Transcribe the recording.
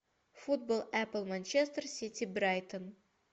футбол апл манчестер сити брайтон